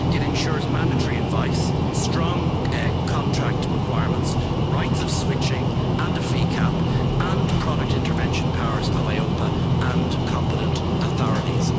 It ensures mandatory advice, strong contract requirements, rights of switching and a fee cap, and the product intervention powers of EIOPA and competent authorities.